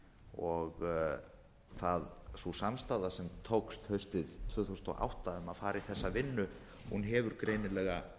og sú samstaða sem tókst haustið tvö þúsund og átta um að fara í þessa vinnu hefur greinilega